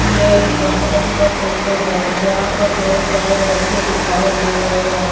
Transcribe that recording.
यह एक फंक्शन का फोटो है जहां पर बहुत सारे व्यक्ति दिखाई दे रहे हैं।